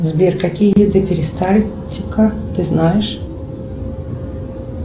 сбер какие виды перистальтика ты знаешь